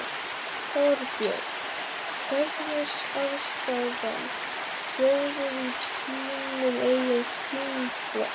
Þorbjörn: Hvernig er afstaðan, hljóðið í þínum eigin þingflokki?